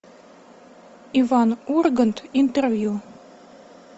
иван ургант интервью